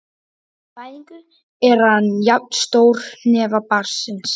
Við fæðingu er hann jafn stór hnefa barnsins.